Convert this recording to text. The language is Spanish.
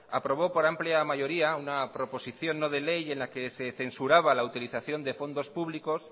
aprobó por amplia mayoría una proposición no de ley en la que se censuraba la utilización de fondos públicos